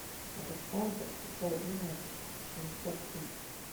александр хусаинович шинтяпин